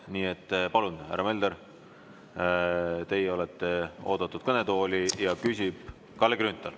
Nii et palun, härra Mölder, teie olete oodatud kõnetooli ja küsib Kalle Grünthal.